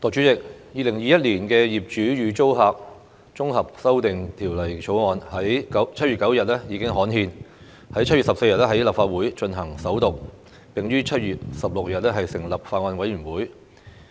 代理主席，《2021年業主與租客條例草案》在7月9日已經刊憲 ，7 月14日在立法會進行首讀，並於7月16日成立法案委員會。